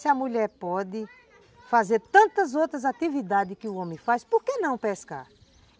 Se a mulher pode fazer tantas outras atividades que o homem faz, por que não pescar?